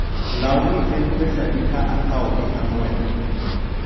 lawni en pesadi ka akawogi ang'wen?